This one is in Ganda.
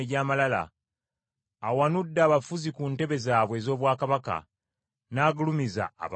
Awanudde abafuzi ku ntebe zaabwe ez’obwakabaka n’agulumiza abawombeefu.